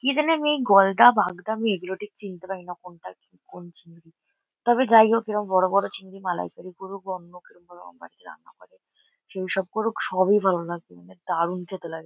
কি জানে আমি এই গলদা বাগদা আমি এগুলো ঠিক চিনতে পারি না। কোনটা কি কোন চিংড়ি তবে যাই হোক এরম বড়ো বড়ো চিংড়ি মালাইকারি করুক বা অন্য কেউ অন্য ভাবে রান্না করে সেইসব করুক সবই ভালো লাগে। মানে দারুন খেতে লাগে।